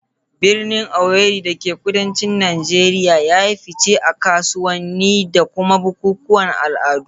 Birnin Owerri da ke kudancin Najeriya ya yi fice a kasuwanni da kuma bukukuwan al'adu.